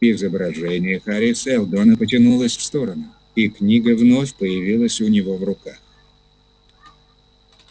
изображение хари сэлдона потянулось в сторону и книга вновь появилась у него в руках